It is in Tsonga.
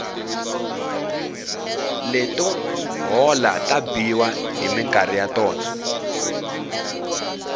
leto hola ti biwa hi minkarhi ya tona